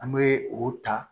An bɛ o ta